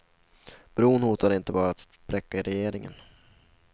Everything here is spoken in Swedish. Bron hotar inte bara att spräcka regeringen.